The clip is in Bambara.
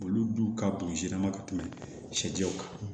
Olu dun ka bugun siran ma ka tɛmɛ sɛjɛw kan